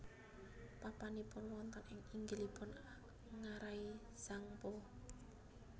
Papanipun wonten ing inggilipun ngarai Tsangpo